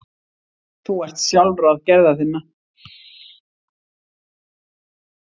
Þú ert sjálfráð gerða þinna.